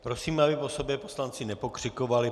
Prosím, aby po sobě poslanci nepokřikovali.